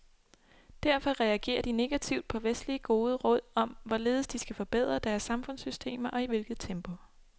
Derfor reagerer de negativt på vestlige gode råd om, hvorledes de skal forbedre deres samfundssystemer og i hvilket tempo.